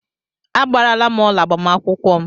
Agbaara m ọla agbamakwụkwọ m.